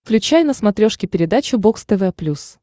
включай на смотрешке передачу бокс тв плюс